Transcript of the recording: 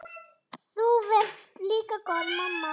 Þú varst líka góð mamma.